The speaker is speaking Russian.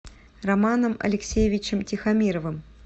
романом алексеевичем тихомировым